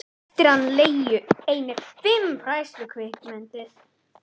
Eftir hann lægju einnig fimm fræðslukvikmyndir.